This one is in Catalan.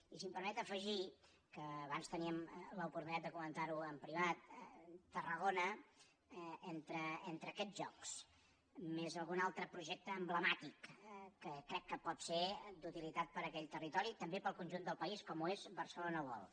i si m’ho permet afegir que abans teníem l’oportunitat de comentarho en privat tarragona entre aquests jocs més algun altre projecte emblemàtic que crec que pot ser d’utilitat per a aquell territori també per al conjunt del país com ho és barcelona world